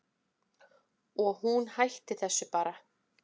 Og hún hætti þessu bara.